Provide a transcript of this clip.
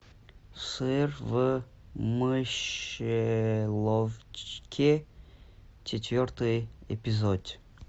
сыр в мышеловке четвертый эпизод